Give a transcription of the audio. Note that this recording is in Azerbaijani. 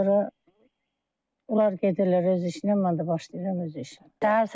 Ondan sonra onlar gedirlər öz işinə, mən də başlayıram öz işimə.